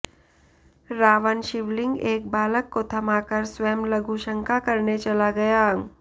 रावण शिवलिंग एक बालक को थमाकर स्वयं लघुशंका करने चला गया